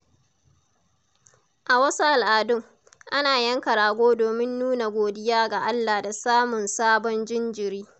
A wasu al'adun, ana yanka rago domin nuna godiya ga Allah da samun sabon jinjiri.